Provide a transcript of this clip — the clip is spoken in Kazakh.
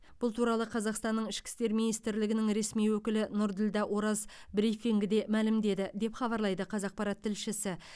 бұл туралы қазақстанның ішкі істер министрлігінің ресми өкілі нұрділдә ораз брифингіде мәлімдеді деп хабарлайды қазақпарат тілшісі